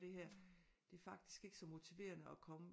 Det her det er faktisk ikke så motiverende at komme